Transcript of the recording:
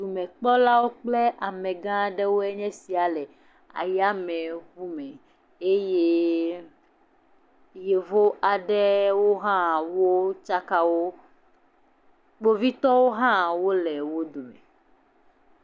Dumekpɔlawoe kple amegãwoe nye esia le yameʋume eye yevu aɖewo ha tsakawo kpovitɔ aɖewo ha le wodome